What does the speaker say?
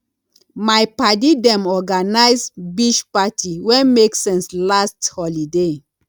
my paddy dem organise beach party wey make sense last holiday